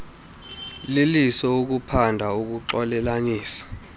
liliso ukuphanda ukuxolelanisa